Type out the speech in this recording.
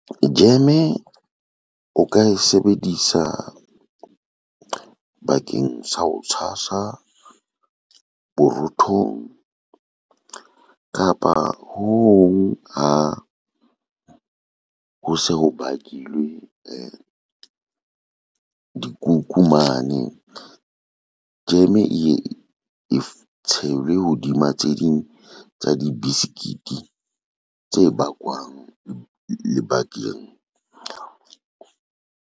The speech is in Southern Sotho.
Jeme o ka e sebedisa bakeng sa ho tshasa borothong kapa ho se ho bakilwe dikuku mane, jeme eye e tshelwe hodima tse ding tsa dibesekite tse bakwang lebakeng.